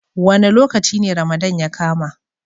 Wa ne lokaci ne Ramadana ya kama?